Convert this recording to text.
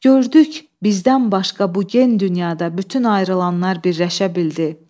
Gördük, bizdən başqa bu gen dünyada bütün ayrılanlar birləşə bildi.